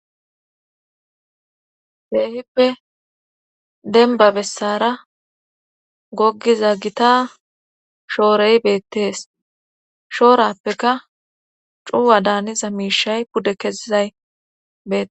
Keehippe denba bessara goggiza gita shoorey beettees shoorappeka cuwa daaniza miishay pude kezizay bee